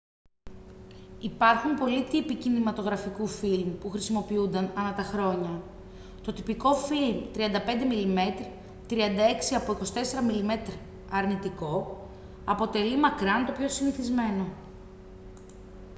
υπάρχουν πολλοί τύποι κινηματογραφικού φιλμ που χρησιμοποιούνταν ανά τα χρόνια. το τυπικό φιλμ 35 mm 36 από 24 mm αρνητικό αποτελεί μακράν το πιο συνηθισμένο